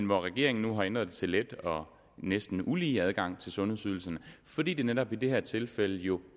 hvor regeringen nu har ændret det til let og næsten ulige adgang til sundhedsydelserne fordi det netop i det her tilfælde jo